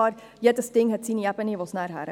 Jedes Ding hat eine Ebene, auf die es gehört.